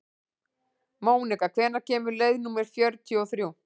Mónika, hvenær kemur leið númer fjörutíu og þrjú?